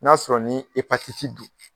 N'a sɔrɔ ni don